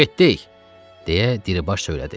Getdik, deyə Diribaş söylədi.